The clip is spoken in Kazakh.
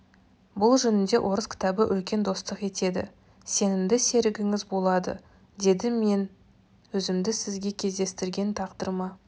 бұл жөнінде орыс кітабы үлкен достық етеді сенімді серігіңіз болады деді мен өзімді сізге кездестірген тағдырыма